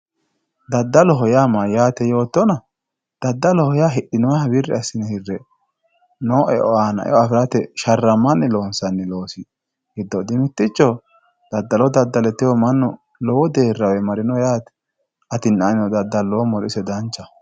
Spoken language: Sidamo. dadaloho mayatena yootonna dadaloha hidhinoha wiri asine no eo ana eo afirate sharamanni loonsanni loosotti techo dadalo dadale tewo manu lowo derawe marino yatte atinna anino dadalomoro isi danchaho